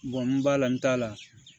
n b'a la n t'a la